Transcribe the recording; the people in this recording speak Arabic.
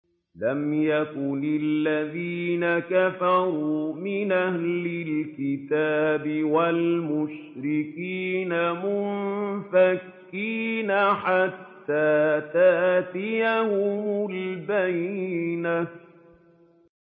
لَمْ يَكُنِ الَّذِينَ كَفَرُوا مِنْ أَهْلِ الْكِتَابِ وَالْمُشْرِكِينَ مُنفَكِّينَ حَتَّىٰ تَأْتِيَهُمُ الْبَيِّنَةُ